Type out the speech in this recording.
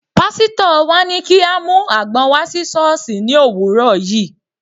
Pásítọ̀ wa ní kí a mú àgbọn wá sí sọ́ọ̀sì ní òwúrọ̀ yìí.